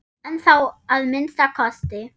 Ennþá að minnsta kosti.